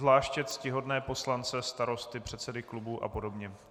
Zvláště ctihodné poslance starosty, předsedy klubů a podobně.